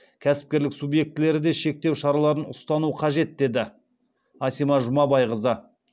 кәсіпкерлік субъектілері де шектеу шараларын ұстану қажет деді асима жұмабайқызы